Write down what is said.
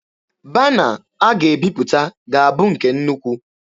Bana a ga-ebiputa ga-abụ nke nnukwu.